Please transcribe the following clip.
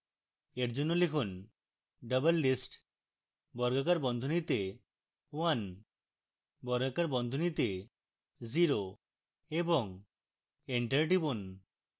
for জন্য লিখুন: doublelist বর্গাকার বন্ধনীতে one বর্গাকার বন্ধনীতে zero এবং enter টিপুন